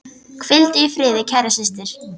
Hvíldu í friði, kæra systir.